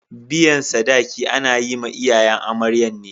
Biyan sadaki ana yi ma iyayen amaryan ne.